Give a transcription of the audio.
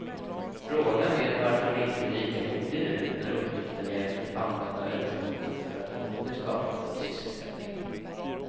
Frågan är varför han inte är lika modig nu när uppgiften är att använda överskotten för att åter skapa full sysselsättning.